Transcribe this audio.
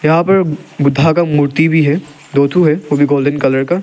यहां पर बुद्धा का मूर्ति भी है दो थू है वो भी गोल्डन कलर का --